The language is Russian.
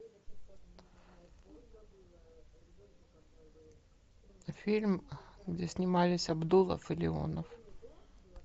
фильм где снимались абдулов и леонов